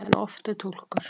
En oft er túlkur.